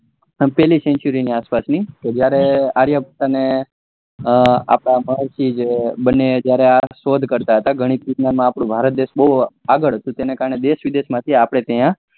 પેલી century ની આસ પાસ ની કે જયરે આર્યભટ્ટ ને અપડા મહર્ષિ બને જયારે આ શોધ કરતા હતા ગણિત વિજ્ઞાન માં આપડો ભારત દેશ બહુ આગળ હતું તેને ત્યારે દેશ વિદેશ માંથી અપડા ત્યાં